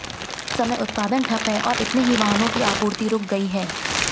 इस समय उत्पादन ठप है और इतने ही वाहनों की आपूर्ति रुक गई है